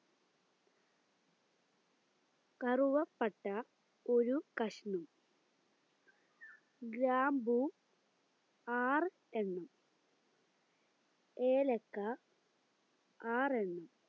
കറുവപ്പട്ട ഒരു കഷ്ണം ഗ്രാമ്പു ആറ് എണ്ണം ഏലക്ക ആറ് എണ്ണം